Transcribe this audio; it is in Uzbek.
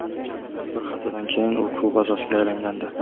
Bir haftadan keyin u klub a’zosiga aylangandi.